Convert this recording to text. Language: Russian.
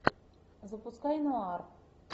запускай нуар